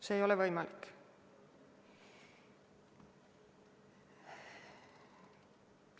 See ei ole võimalik.